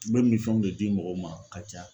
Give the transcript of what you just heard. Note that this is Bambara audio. U bɛ minfɛnw de di mɔgɔw ma ka caya.